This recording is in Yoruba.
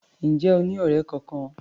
Ǹjẹ́ o ní ọ̀rẹ́ kọkan?